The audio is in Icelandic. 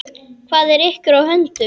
Hvað er ykkur á höndum?